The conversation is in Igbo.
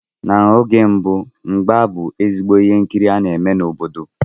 N'oge mbụ mgba bú ezigbo ihe nkiri a na-eme n'obodo.